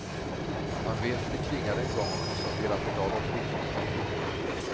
Han vet hur det klingade en gång och konstaterar att i dag låter det inte lika fint.